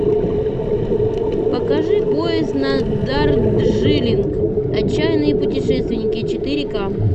покажи поезд на дарджилинг отчаянные путешественники четыре ка